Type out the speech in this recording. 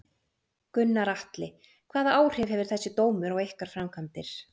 Gunnar Atli: Hvaða áhrif hefur þessi dómur á ykkar framkvæmdir?